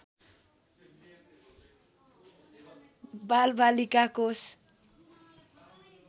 बालबालिका कोष